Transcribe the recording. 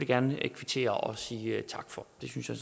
gerne kvittere og sige tak for det synes jeg